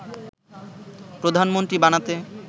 প্রধানমন্ত্রী বানাতে